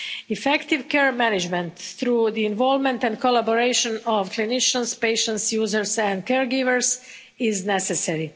Effective care management through the involvement and collaboration of clinicians, patients, users and caregivers is necessary.